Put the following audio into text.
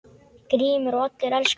GRÍMUR: Og allir elska þig.